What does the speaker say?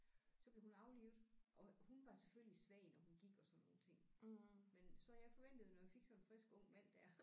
Så blev hun aflivet og hun var selvfølgelig svag når hun gik og sådan nogle ting men så jeg forventede når jeg fik sådan en frisk ung mand der